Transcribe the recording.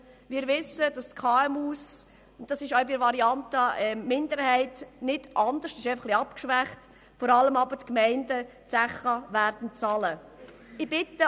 Wir wissen, dass die KMU – dies ist auch bei der Minderheitsvariante nicht anders, sondern es wird nur etwas abgeschwächt –, vor allem aber die Gemeinden die Zeche dafür bezahlen werden.